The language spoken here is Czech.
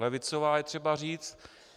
Levicová - je třeba říct.